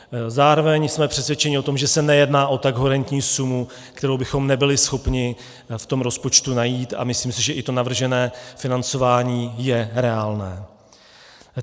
Zároveň jsme přesvědčeni o tom, že se nejedná o tak horentní sumu, kterou bychom nebyli schopni v tom rozpočtu najít, a myslím si, že i to navržené financování je reálné.